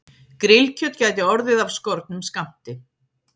Grillkjöt gæti orðið af skornum skammti